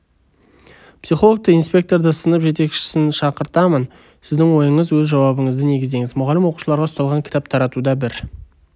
психологты инспекторды сынып жетекшісін шақыртамын сіздің ойыңыз өз жауабыңызды негіздеңіз мұғалім оқушыларға ұсталған кітап таратуда бір